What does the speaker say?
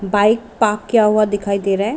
Bike park किया हुआ दिखाई दे रहा हैं।